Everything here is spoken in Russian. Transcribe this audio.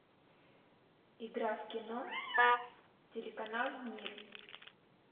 игра в кино телеканал мир